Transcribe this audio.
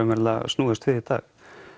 snúist við í dag